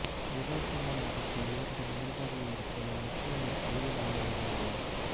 யதார்த்தமான நடிப்பு இவரிடம் இயல்பாகவே இருப்பதால் நிச்சயம் ஒரு பெரிய நடிகராக வருவார்